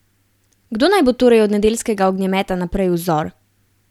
Kdo naj bo torej od nedeljskega ognjemeta naprej vzor?